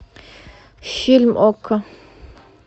фильм окко